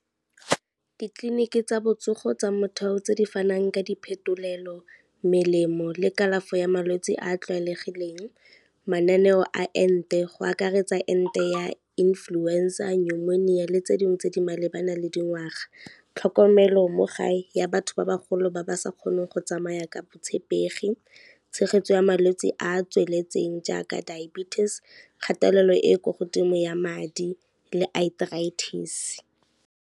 Ditleliniki tsa botsogo tsa motheo tse di fanang ka diphetolelo, melemo le kalafi ya malwetse a a tlwaelegileng, mananeo a ente go akaretsa ente ya influenza, pneumonia le tse dingwe tse di malebana le dingwaga. Tlhokomelo mo gae ya batho ba bagolo ba ba sa kgoneng go tsamaya ka botshepegi, tshegetso ya malwetsi a a tsweletseng jaaka diabetes, kgatelelo e kwa godimo ya madi le arthritis.